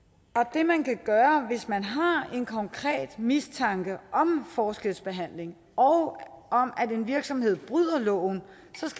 det man kan gøre hvis man har en konkret mistanke om forskelsbehandling og om at en virksomhed bryder loven